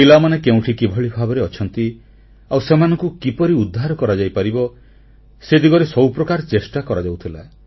ପିଲାମାନେ କେଉଁଠି କିଭଳି ଭାବରେ ଅଛନ୍ତି ଆଉ ସେମାନଙ୍କୁ କିପରି ଉଦ୍ଧାର କରାଯାଇପାରିବ ସେ ଦିଗରେ ସବୁ ପ୍ରକାର ଚେଷ୍ଟା କରାଯାଉଥିଲା